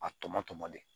A tɔmɔ tɔmɔ de